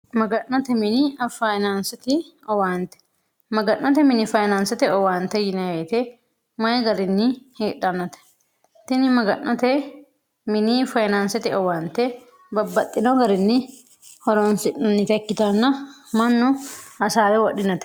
maga'note mini finansot owaante maga'note mini fayinaansote owaante yineweyite mayi garinni hiedhannote tini maga'note mini fayinaansete owaante babbaxxino garinni horoonsi'nannite ikkitanna mannu hasaare wodhinote